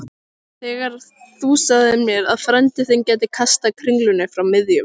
Þegar þú sagðir mér að frændi þinn gæti kastað kringlunni frá miðjum